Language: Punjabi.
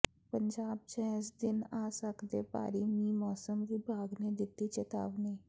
ਪੰਜਾਬ ਚ ਇਸ ਦਿਨ ਆ ਸਕਦੈ ਭਾਰੀ ਮੀਂਹ ਮੌਸਮ ਵਿਭਾਗ ਨੇ ਦਿੱਤੀ ਚੇਤਾਵਨੀ